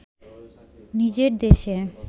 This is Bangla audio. নিজের দেশে